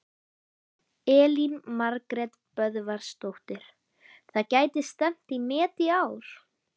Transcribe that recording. Elín Margrét Böðvarsdóttir: Það gæti stefnt í met í ár?